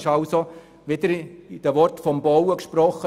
Um es wieder in Worten zum Bauen auszudrücken: